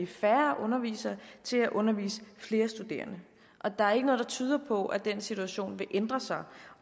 færre undervisere til at undervise flere studerende og der er ikke noget der tyder på at den situation vil ændre sig